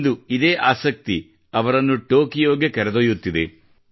ಇಂದು ಇದೇ ಆಸಕ್ತಿ ಅವರನ್ನು ಟೊಕಿಯೋಗೆ ಕರೆದೊಯ್ಯುತ್ತಿದೆ